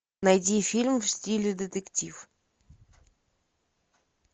найди фильм в стиле детектив